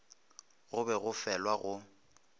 go be go felwa go